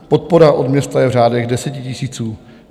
Podpora od města je v řádech desetitisíců.